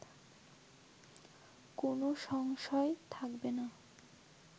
কোনো সংশয় থাকবে না